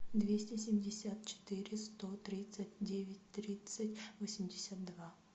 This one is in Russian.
двести семьдесят четыре сто тридцать девять тридцать восемьдесят два